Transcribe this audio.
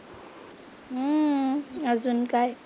हम्म अजून काय?